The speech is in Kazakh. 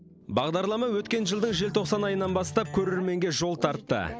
бағдарлама өткен жылдың желтоқсан айынан бастап көрерменге жол тартты